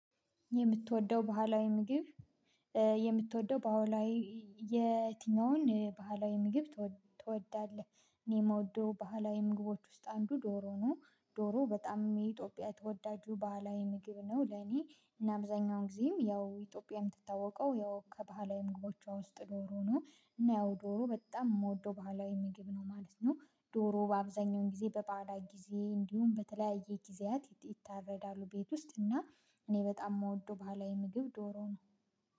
የምትወደው ባህላዊ ምግብ የምትወደው በአዎ ላይ የትኛውን ባህላዊ ምግብ ትወዳለህ? እኔ የምወደው ባህላዊ ምግቦች ውስጥ አንዱ ዶሮ ነው። ዶሮ በጣም የኢትዮጵያ ተወዳጁ ባህላዊ ምግብ ነው ለኔ እና አብዛኛውን ጊዜም ያው ኢትዮጵያ የምትታወቀው ያው ከባህላዊ ምግቦቿ ውስጥ ዶሮ ነው። እና ያው ዶሮ በጣም የምወደው ባህላዊ ምግብ ነው ማለት ነው። ዶሮ በአብዛኛው ጊዜ በባህላዊ ጊዜ እንዲሁም በተለያየ ጊዜያት ይታረዳሉ ቤት ውስጥ እና። እኔ በጣም የምወደው ባህላዊ ምግብ ዶሮ ነው